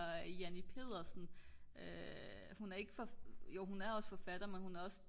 Janni Pedersen hun er ik jo hun er også forfatter men hun er også